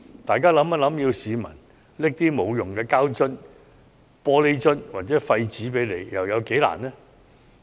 大家試想想，要市民將一些無用的膠樽、玻璃樽或廢紙拿去回收，有多困難？